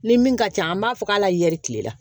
Ni min ka ca an b'a fɔ k'ala yɛri kile la